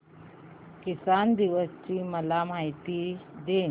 किसान दिवस ची मला माहिती दे